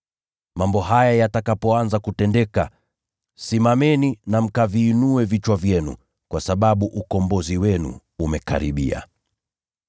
Mambo haya yatakapoanza kutendeka, simameni na mkaviinue vichwa vyenu, kwa sababu ukombozi wenu umekaribia.”